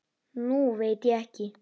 Nú veit ég ekki.